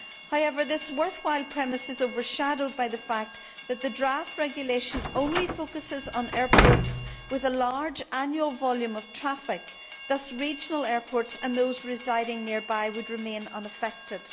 However, this worthwhile premise is overshadowed by the fact that the draft regulation only focuses on airports with a large annual volume of traffic, and that regional airports and those residing nearby would thus remain unaffected.